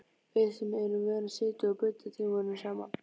Við sem erum vön að sitja og bulla tímunum saman.